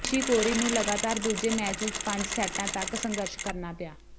Nishikori ਨੂੰ ਲਗਾਤਾਰ ਦੂਜੇ ਮੈਚ ਵਿਚ ਪੰਜ ਸੈੱਟਾਂ ਤਕ ਸੰਘਰਸ਼ ਕਰਨਾ ਪਿਆ